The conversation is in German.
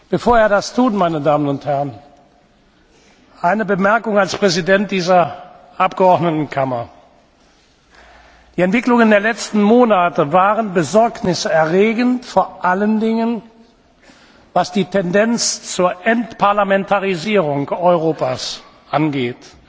Bevor er das tut, eine Bemerkung als Präsident dieser Abgeordnetenkammer Die Entwicklungen der letzten Monate waren besorgniserregend, vor allen Dingen, was die Tendenz zur Entparlamentarisierung Europas angeht.